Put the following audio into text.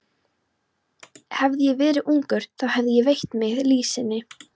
Hefði ég verið ungur, þá hefði ég veitt mitt liðsinni.